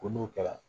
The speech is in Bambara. Ko n'o kɛra